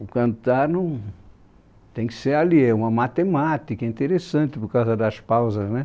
O cantar não, tem que ser ali, é uma matemática, é interessante por causa das pausas né